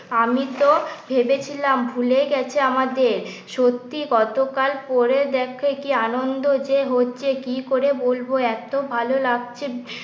আমি তো ভেবেছিলাম ভুলেই গেছো আমাদের। সত্যি কতকাল পরে দেখা কি আনন্দ যে হচ্ছে কি করে বলবো এত ভালো লাগছে